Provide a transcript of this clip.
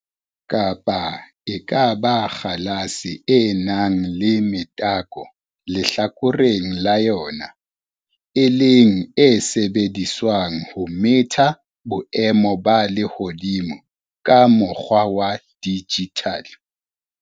Kapa e ka ba kgalase e nang le metako lehlakoreng la yona, e leng e sebediswang ho metha boemo ba lehodimo ka mokgwa wa digital.